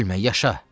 Ölmə, yaşa!